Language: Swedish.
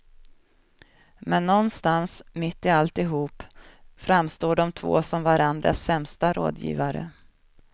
Men någonstans, mitt i alltihop, framstår de två som varandras sämsta rådgivare.